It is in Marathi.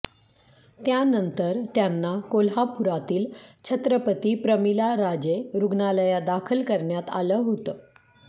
त्यानंतर त्यांना कोल्हापुरातील छत्रपती प्रमिला राजे रुग्णालयात दाखल करण्यात आलं होतं